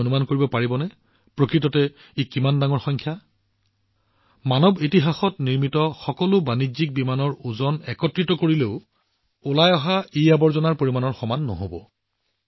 আপোনালোকে কিমান অনুমান কৰিব পাৰিবনে আনকি মানৱজাতিৰ ইতিহাসত নিৰ্মাণ কৰা সকলো বাণিজ্যিক বিমানৰ ওজন একত্ৰিত কৰিলেও নিষ্কাশিত ইআৱৰ্জনাৰ পৰিমাণৰ সমান নহব